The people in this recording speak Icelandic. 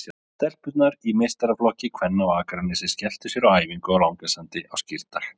Stelpurnar í meistaraflokki kvenna á Akranesi skelltu sér á æfingu á Langasandi á Skírdag.